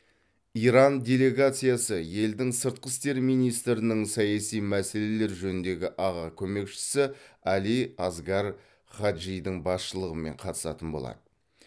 иран делегациясы елдің сыртқы істер министрінің саяси мәселелер жөніндегі аға көмекшісі али асгар хаджидің басшылығымен қатысатын болады